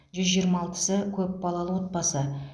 жүз жиырма алтысы көп балалы отбасы